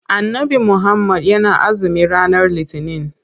Annabi muhammad yana azumi ranar litinin.